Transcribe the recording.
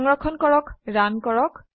সংৰক্ষণ কৰক ৰান কৰক